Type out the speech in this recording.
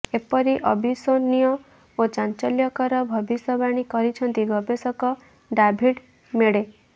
ଏପରି ଅବିଶ୍ୱନୀୟ ଓ ଚାଞ୍ଚଲ୍ୟକର ଭବିଷ୍ୟବାଣୀ କରିଛନ୍ତି ଗବେଷକ ଡାଭିଡ୍ ମେଡେ